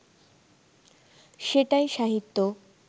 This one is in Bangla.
সেটাই সাহিত্য